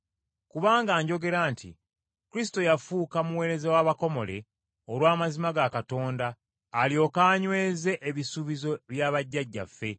Kubanga njogera nti Kristo yafuuka muweereza w’abakomole olw’amazima ga Katonda alyoke anyweze ebisuubizo bya bajjajjaffe